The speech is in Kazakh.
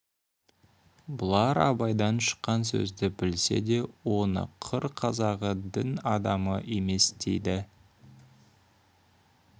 бұлар абайдан шыққан сөзді білсе де оны қыр қазағы дін адамы емес дейді